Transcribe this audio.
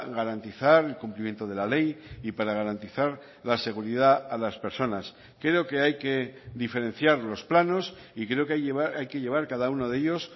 garantizar el cumplimiento de la ley y para garantizar la seguridad a las personas creo que hay que diferenciar los planos y creo que hay que llevar cada uno de ellos